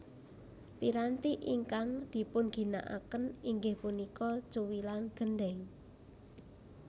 Piranti ingkang dipunginakaken inggih punika cuwilan gendhèng